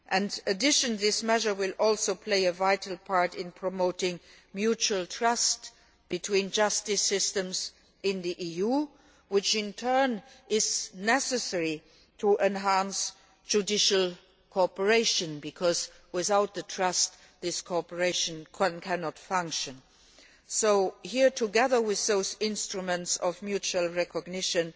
In addition, this measure will also play a vital part in promoting mutual trust between justice systems in the EU, which in turn is necessary to enhance judicial cooperation, because without trust this cooperation cannot function. Here, together with those instruments of mutual recognition,